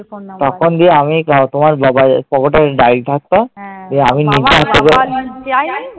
তখন দিয়ে আমি তোমার বাবার pocket এ একটা diary থাকতো, দিয়ে আমি নিজে